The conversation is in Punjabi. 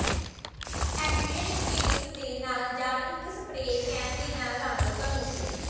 ਐਕ੍ਰੀਅਲਿਕ ਪੇਂਟਸ ਦੇ ਨਾਲ ਜਾਂ ਇੱਕ ਸਪਰੇਅ ਕੈਨ ਦੇ ਨਾਲ ਰੰਗ ਧਨੁਸ਼